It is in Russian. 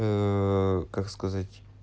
ээ как сказать